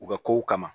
U ka kow kama